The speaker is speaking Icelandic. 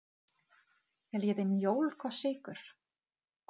Viljið þið mjólk og sykur?